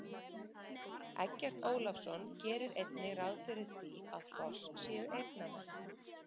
Eggert Ólafsson gerir einnig ráð fyrir því að hross séu eyrnamerkt.